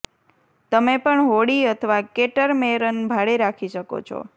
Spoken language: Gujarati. તમે પણ હોડી અથવા કેટરમેરન ભાડે રાખી શકો છો